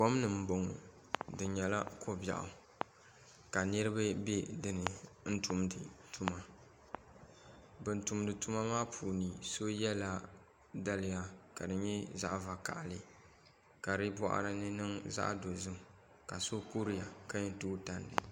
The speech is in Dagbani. Kom ni n boŋo di nyɛla ko biɛɣu ka niraba bɛ dinni tumdi tuma bin tumdi tuma maa puuni so yɛla daliya ka di nyɛ zaɣ vakaɣali ka di boɣari ni niŋ zaɣ dozim ka so kuriya ka yɛn tooi tandi